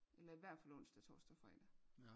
Eller i hvert fald onsdag torsdag fredag